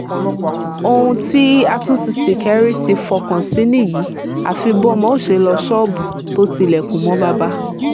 ohun tí àtúntí ṣíkẹ́ri ti fọkàn sí nìyí àfi bọnmọ ò ṣe lọ́ọ́ ṣọ́ọ̀bù tó tilẹ̀kùn mọ́ bàbá